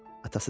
Atası dedi.